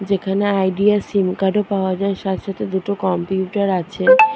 যেখানে Idea SIM card -ও পাওয়া যায় সাথে সাথে দুটো কম্পিউটার আছে।